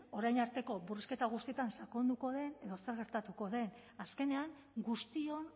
orain arteko murrizketa guztietan sakonduko den edo zer gertatuko den azkenean guztion